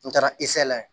N taara la